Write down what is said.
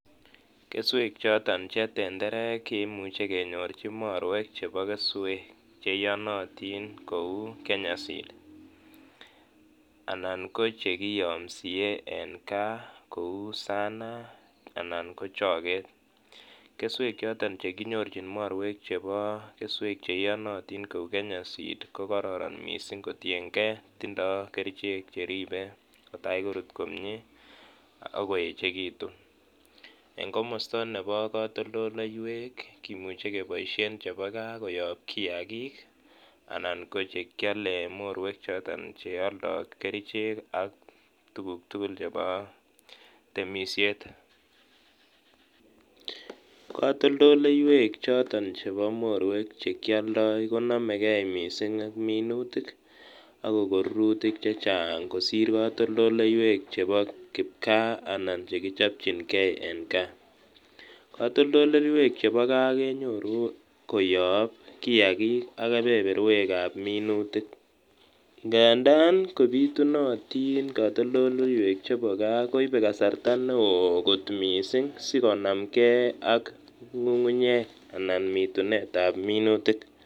Kesweek choton che tenterek kimuje kenyorji morweek chebo kesweek cheiyonotin kou Kenya seed anan ko jekiyomsie en Kaa kou Sanaa anan ko chogeet kesweek joton jekinyorjiin morweek jebo keswek jeiyonotiin kou Kenya seed kororon mising kotienkee tindoo kerjeek jekikinde kotai korut komie ok koejekiitun en komosto nebo kotolteyweek kimuje kiboisien jebo gaa koyob kiyaakik anan kojekyole en morweek choton cheoldoo kerjeeg ii AK tukuk tukul cheboo temisiet kotolteyweek choton chebo morweg chekioldo konomegee mising ak minuutik ak kokon rurutik jejaang kosir kotoltoldeyweek jebo kipkaa anan jekijopjinkee en Kaa kotolteyweek jebo Kaa kenyoruu koyob kiyaakik ab minutik ngangadan kobitunotton kotoltoleyweek chebo Kaa koibee kasarta neo kot mising sikonamkee ok ngungunyeek an mitunet ab minuutik